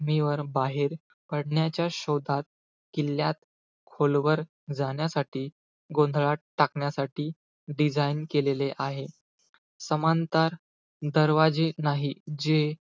मीवर बाहेर पडण्याच्या शोधात, किल्ल्यात खोलवर जाण्यासाठी, गोंधळात टाकण्यासाठी, design केलेले आहे. समांतर दरवाजे नाही जे,